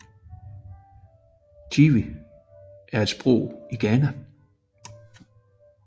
Twi er et sprog i Ghana